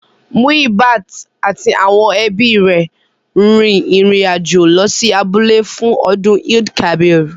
Muyibat àti àwọn ẹbí rẹ̀ rin ìrìn àjò lọ sí abúlé fún ọdún Eid-el-kabir